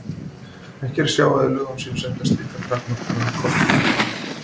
Ekki er að sjá að í lögum séu settar slíkar takmarkanir á kosningarétt manna.